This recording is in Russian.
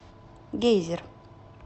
гейзер